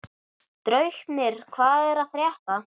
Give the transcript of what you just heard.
Draupnir, hvað er að frétta?